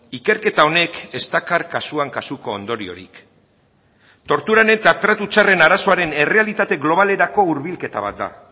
ikerketa honek ez dakar kasuan kasuko ondoriorik torturen eta tratu txarren arazoaren errealitate globalerako hurbilketa bat da